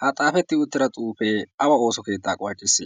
ha xaafetti yuuttira xuufee awa ooso keettaa qucciss